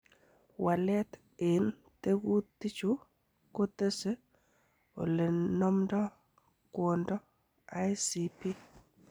Walet en tekutichu kotese olenomdo kwondo ICP.